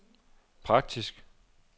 praktisk